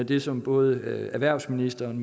det som både erhvervsministeren